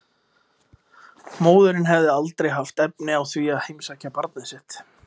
Móðirin hefði aldrei haft efni á því að heimsækja barnið sitt.